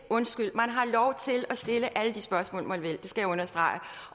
man har lov til at stille alle de spørgsmål man vil det skal jeg understrege